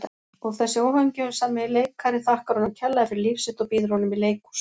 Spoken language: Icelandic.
Og þessi óhamingjusami leikari þakkar honum kærlega fyrir líf sitt og býður honum í leikhús.